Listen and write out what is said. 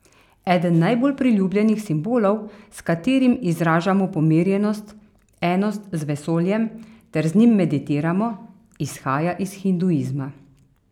Eden najbolj priljubljenih simbolov, s katerim izražamo pomirjenost, enost z vesoljem ter z njim meditiramo, izhaja iz hinduizma.